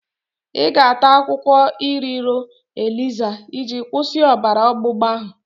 Ị ga-ata akwụkwọ iroro eliza iji kwụsị ọbara ọgbụgba ahụ?